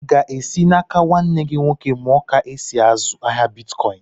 Ị ga-esi n'áká nwanne gị nwoke muọ ka e sị azụ ahịa bịtkọin?